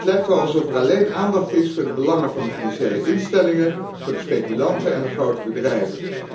Het lijkt wel alsof er alleen aandacht is voor de belangen van de financiële instellingen, voor de speculanten en de grote bedrijven.